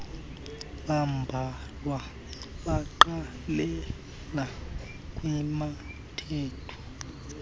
bambalwa baqalela kwabathathu